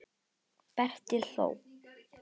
Berti hló.